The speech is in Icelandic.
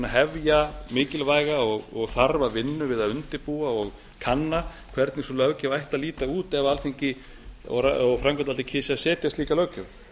hefja mikilvæga og þarfa vinnu við að undirbúa og kanna hvernig sú löggjöf ætti að líta út ef alþingi og framkvæmdavaldið kysu að setja slíka löggjöf